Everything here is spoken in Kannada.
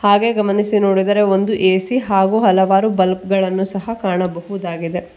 ಹಾಗೆ ಗಮನಿಸಿ ನೋಡಿದರೆ ಒಂದು ಎ_ಸಿ ಹಾಗು ಹಲವಾರು ಬಲ್ಬ್ ಗಳನ್ನ ಸಹ ಕಾಣಬಹುದಾಗಿದೆ.